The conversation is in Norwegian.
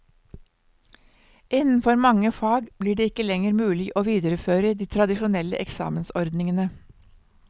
Innenfor mange fag blir det ikke lenger mulig å videreføre de tradisjonelle eksamensordningene.